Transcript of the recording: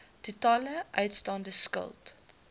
totale uitstaande skuld